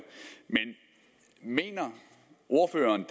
men mener ordføreren